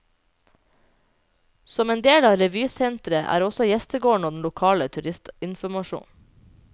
Som en del av revysenteret er også gjestegården og den lokale turistinformasjonen.